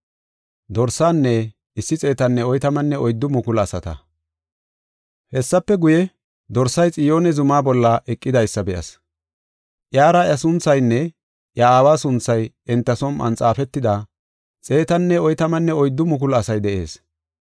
Hessafe guye, Dorsay Xiyoone zuma bolla eqidaysa be7as. Iyara iya sunthaynne iya Aawa sunthay enta som7on xaafetida, 144,000 asay de7ees.